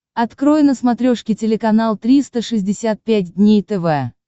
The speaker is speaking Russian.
открой на смотрешке телеканал триста шестьдесят пять дней тв